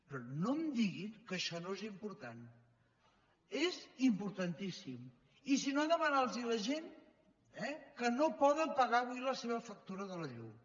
però no em diguin que això no és important és importantíssim i si no demanin ho a la gent eh que no poden pagar avui la seva factura de la llum